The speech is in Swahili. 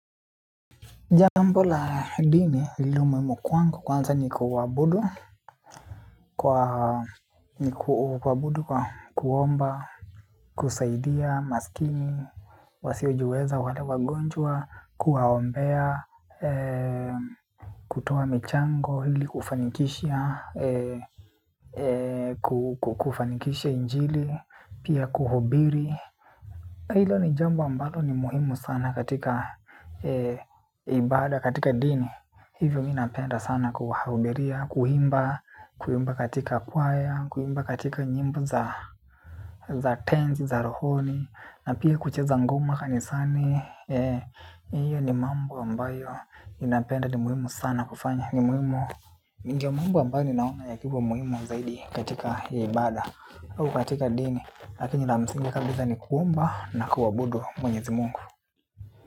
Jambo la dini, lilomuhimu kwangu kwanza ni kuabudu, kwa kuomba, kusaidia masikini, wasiojiweza wale wagonjwa, kuwaombea, kutoa michango, ili kufanikisha, kufanikishia injili, pia kuhubiri. Hilo ni jambo ambalo ni muhimu sana katika ibada, katika dini. Hivyo mimi napenda sana kuhubiria, kuimba katika kwaya, kuimba katika nyimbo za. Za tenzi, za rohoni na pia kucheza ngoma kanisani, hiyo ni mambo ambayo ninapenda, ni muhimu sana kufanya. Ndio mambo ambayo naona yakiwa muhimu zaidi katika ibada au katika dini. Lakini la msingi kabisa ni kuomba na kuabudu mwenyezi Mungu.